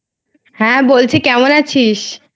হ্যাঁ বলছি. কেমন আছিস??